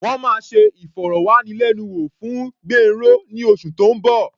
Wọ́n máa ṣe ìfọ̀rọ̀wánilẹ́nuwò fún Gbénró ní oṣù tó ń bọ̀.